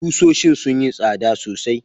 Kusoshin sun yi tsada sosai.